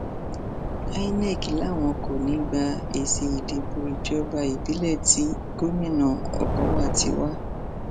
inov làwọn kò ní í gba èsì ìdìbò ìjọba ìbílẹ tí gomina okọwà ti wá